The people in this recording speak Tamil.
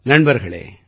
வணக்கம் சார்